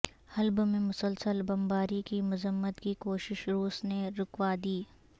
حلب میں مسلسل بمباری کی مذمت کی کوشش روس نے رکوا دی